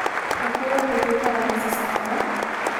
Kako je potekala raziskava?